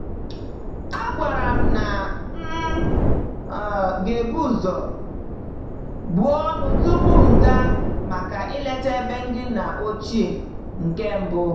A gwara m na m um gebu ụzọ buo ọnụ tupu m gaa maka ileta ebe ndị nna ochie nke mbụ.